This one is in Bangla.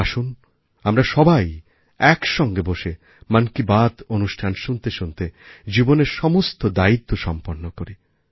আসুন আমরা সবাইএকসঙ্গে বসে মন কি বাত অনুষ্ঠান শুনতে শুনতে জীবনের সমস্ত দায়িত্ব সম্পন্ন করি